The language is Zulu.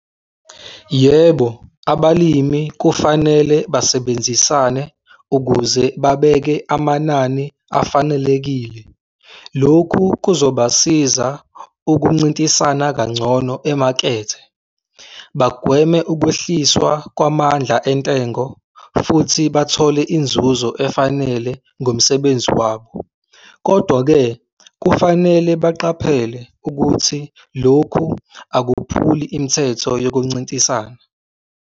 Yebo, abalimi kufanele basebenzisane ukuze babeke amanani afanelekile. Lokhu kuzobasiza ukuncintisana kangcono emakethe, bagweme ukwehliswa kwamandla entengo futhi bathole inzuzo efanele ngomsebenzi wabo. Kodwa-ke kufanele baqaphele ukuthi lokhu akuphuli imithetho yokuncintisana.